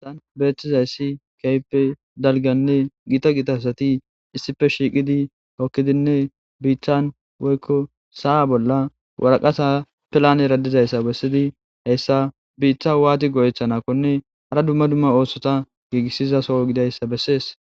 An beeththizayssi keehippe dalganne giita gita asati issippe shiiqidi bookkidinne biittan woykko sa7a bolla waraqasa pelaanera dizayssa bessidi biita waati go7etanakkonne hara dumma dumma oosota giigissizaso gidayssa bessees.